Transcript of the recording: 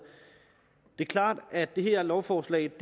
det er klart at det her lovforslag ikke